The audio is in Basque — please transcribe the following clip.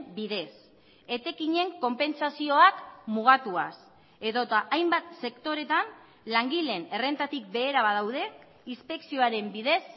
bidez etekinen konpentsazioak mugatuaz edota hainbat sektoretan langileen errentatik behera badaude inspekzioaren bidez